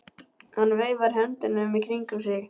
Hann veifar höndunum í kringum sig.